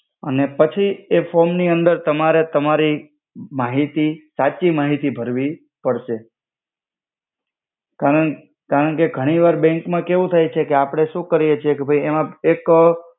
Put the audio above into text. અને પછી એ ફોમ ની અંદર તમારે તમારી માહિતી સાચી માહિતી ભર્વી પડ્સે કરણ કે ઘનિ વાર બેંક મા કેવુ થાય છે કે આપણે સુ કરિયે છિએ કે ભઇએમા એક